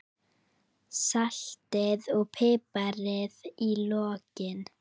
Saltið og piprið í lokin.